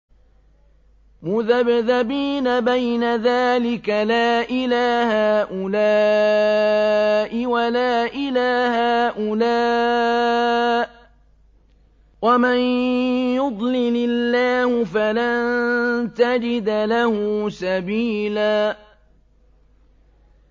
مُّذَبْذَبِينَ بَيْنَ ذَٰلِكَ لَا إِلَىٰ هَٰؤُلَاءِ وَلَا إِلَىٰ هَٰؤُلَاءِ ۚ وَمَن يُضْلِلِ اللَّهُ فَلَن تَجِدَ لَهُ سَبِيلًا